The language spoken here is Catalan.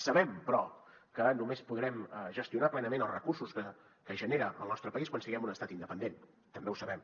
sabem però que només podrem gestionar plenament els recursos que genera el nostre país quan siguem un estat independent també ho sabem